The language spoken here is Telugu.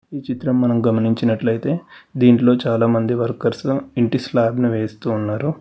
ఈ చిత్రం మనం గమనించినట్లయితే దీంట్లో చాలా మంది వర్కర్స్ ఇంటి స్లాప్ ని వేస్తూ ఉన్నారు.